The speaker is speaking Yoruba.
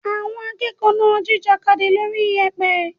Àwọn akẹ́kọ̀ọ́ náà ń jìjàkadì lórí iyẹ̀pẹ̀.